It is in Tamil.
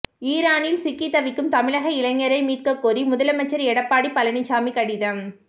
ஈரானில் சிக்கித் தவிக்கும் தமிழக இளைஞரை மீட்கக்கோரி முதலமைச்சர் எடப்பாடி பழனிசாமி கடிதம்